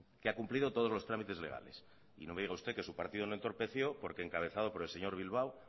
que ha cumplido todos los trámites legales y no me diga usted que su partido no entorpeció porque encabezado por el señor bilbao